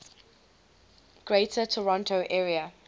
greater toronto area